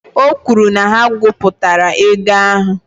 O kwuru na ha gụpụtara ego ahụ